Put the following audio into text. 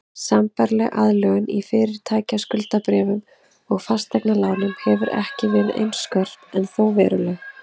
Sambærileg aðlögun í fyrirtækjaskuldabréfum og fasteignalánum hefur ekki verið eins skörp en þó veruleg.